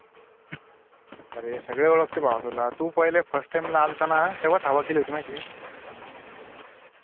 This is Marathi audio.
अरे सगळे ओळखते भावा तुला तू पहिले first time ला आल्ताना तेव्हाच हवा केली होती म्हायतीक